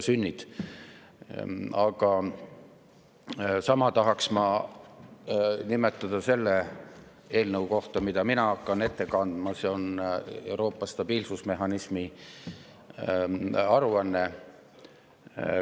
Sama tahaks ma selle kohta, mida ma hakkan ette kandma, Euroopa stabiilsusmehhanismi aruande kohta.